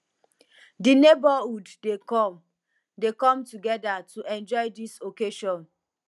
di neighborhood dey come dey come together to enjoy dis special occasion